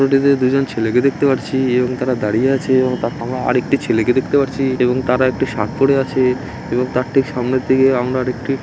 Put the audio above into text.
চিত্রটিতে দুজন ছেলেকে দেখতে পাচ্ছি এবং তারা দাঁড়িয়ে আছে এবং তার ঠিক পেছনের দিকে আমরা আরেকটি ছেলেকে দেখতে পারছি এবং তারা একটি শার্ট পরে আছে এবং তার ঠিক সামনের দিকে আমরা আরেকটি--